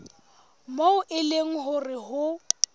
moo e leng hore ho